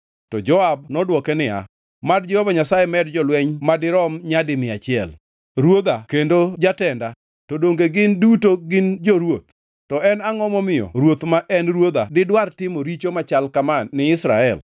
To Joab nodwoke niya, “Mad Jehova Nyasaye med jolweny madirom nyadi mia achiel. Ruodha kendo jatenda, to donge gin duto gin jo-ruoth? To en angʼo momiyo ruoth ma en ruodha didwar timo richo machal kama ni Israel?”